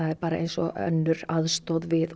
er bara eins og önnur aðstoð við